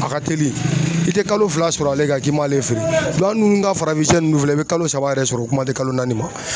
A ka teli i tɛ kalo fila sɔrɔ ale kan k'i m'ale feere an dun ka farafinsiyɛ ninnu filɛ i bɛ kalo saba yɛrɛ sɔrɔ o kuma tɛ kalo naani ma.